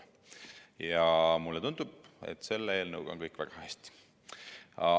Mulle tundub, et selle eelnõuga on kõik väga hästi.